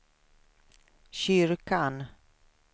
kyrkan